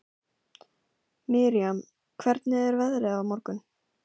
Miriam, hvernig er veðrið á morgun?